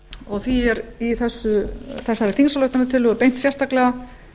og því er þessari þingsályktunartillögu beint sérstaklega